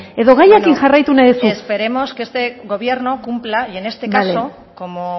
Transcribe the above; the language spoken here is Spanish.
edo gaiarekin jarraitu nahi duzu esperemos que este gobierno cumpla y en este caso como